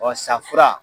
safura